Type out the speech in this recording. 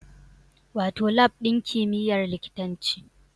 Wato Lab ɗin kimiyyar likitanci